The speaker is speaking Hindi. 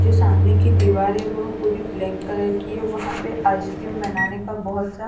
जो सामने की दीवार है वो पूरी ब्लैक कलर की है वहां पे आइसक्रीम बनाने का बहुत सा--